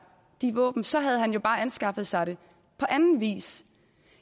de våben for så havde han jo bare anskaffet sig dem på anden vis